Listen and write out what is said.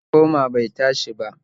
A'a transfoma bai tashi ba